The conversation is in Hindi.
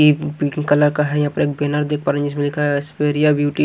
पिंक कलर का है यहाँ पर एक बैनर देख पा रहे हैं जिसमें लिखा है स्पेरिया ब्यूटी --